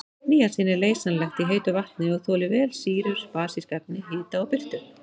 Níasín er leysanlegt í heitu vatni og þolir vel sýrur, basísk efni, hita og birtu.